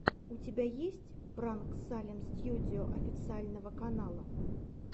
у тебя есть пранк салем стьюдио официального канала